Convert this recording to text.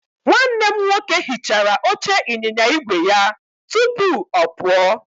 Nwanne m nwoke hichara oche ịnyịnya igwe ya tupu ọ pụọ.